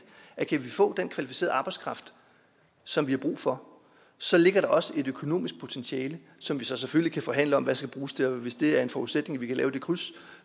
at kan vi få den kvalificerede arbejdskraft som vi har brug for så ligger der også et økonomisk potentiale som vi selvfølgelig kan forhandle om hvad skal bruges til og hvis det er en forudsætning at vi kan lave det kryds